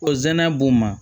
Ko zɛnɛ b'o ma